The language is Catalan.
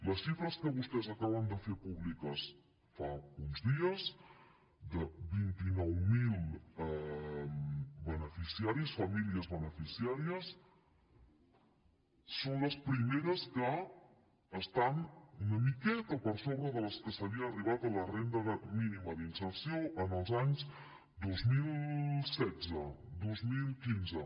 les xifres que vostès acaben de fer públiques fa uns dies de vint nou mil beneficiaris famílies beneficiàries són les primeres que estan una miqueta per sobre de les que s’havia arribat a la renda mínima d’inserció en els anys dos mil setze dos mil quinze